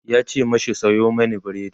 yace mashi "Sayo mani burodi!"